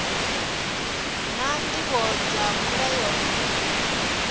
naa ndivho dza mulayo ndi